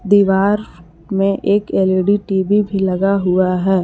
दीवार में एक एल_इ_डी टी_वी भी लगा हुआ है।